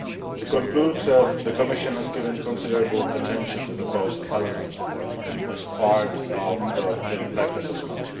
To conclude, the Commission has paid considerable attention to the cost element as part of the impact assessment.